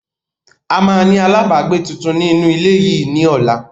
A máa ni àlábagbé tuntun ni inu ile yìí ni ọ̀la